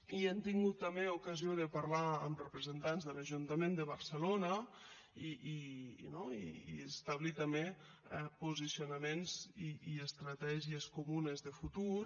i hem tingut també ocasió de parlar amb representants de l’ajuntament de barcelona i establir també posicionaments i estratègies comunes de futur